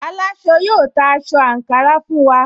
Aláṣọ yóò ta aṣọ àǹkárá fún wa